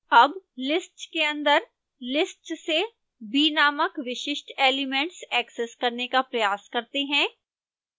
अब list के अंदर list से b नामक विशिष्ट एलिमेंट ऐक्सेस करने का प्रयास करते हैं